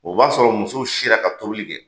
O b'a sɔrɔ musow sira ka tobili kɛ